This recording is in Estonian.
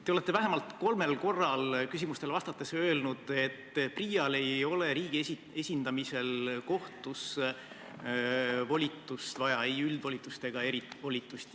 Te olete vähemalt kolmel korral küsimustele vastates öelnud, et PRIA-l ei ole riigi esindamisel kohtus volitust vaja, ei üldvolitust ega erivolitust.